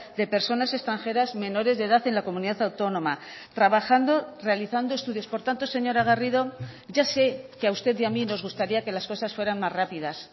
de personas extranjeras menores de edad en la comunidad autónoma trabajando realizando estudios por tanto señora garrido ya sé que a usted y a mí nos gustaría que las cosas fueran más rápidas